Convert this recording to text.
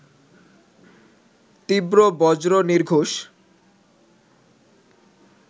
তীব্র বজ্র নির্ঘোষ